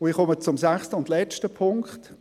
Ich komme zum sechsten und letzten Punkt: